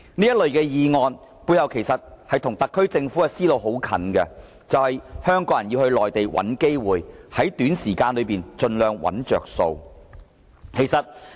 這類議案背後的想法其實與特區政府的思路很接近，就是香港人要到內地找機會，在短時間內盡量找"着數"。